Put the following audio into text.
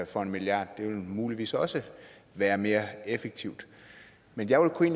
for en milliard det ville muligvis også være mere effektivt men jeg kunne